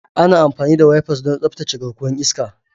Ana amfani da wipers don tsaftace garkuwar iska.